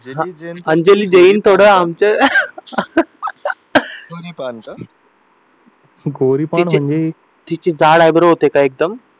गोरीपान म्हणजे तिचे जाड आयब्रो होते का एकदम